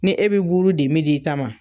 Ni e be buru di i ta ma